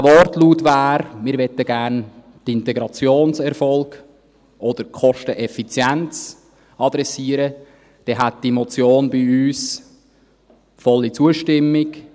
Wenn dieser Wortlaut lautete, dass wir gerne die Integrationserfolge oder die Kosteneffizienz adressieren würden, erhielte diese Motion von uns volle Zustimmung.